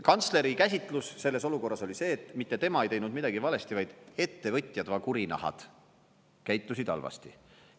Kantsleri käsitlus selles olukorras oli see, et mitte tema ei teinud midagi valesti, vaid ettevõtjad, va kurinahad, käitusid halvasti.